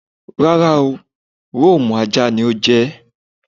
Rára oo, Rome (ajá) ni ó je̩ é̩.